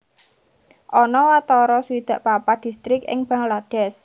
Ana watara swidak papat distrik ing Bangladesh